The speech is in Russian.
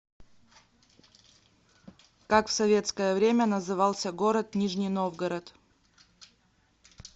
как в советское время назывался город нижний новгород